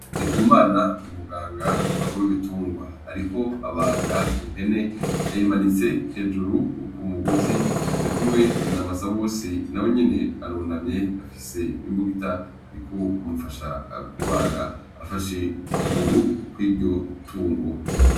Ndikumana ni muganga w'ibitungwa. Ariko abaga impene yayimanitse hejuru k'umugozi. Arikumwe na Basabose nawenyene arunamye afise imbugita ariko amufasha kubaga afashe ukuguru kw'iryo tungo.